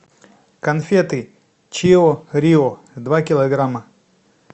конфеты чио рио два килограмма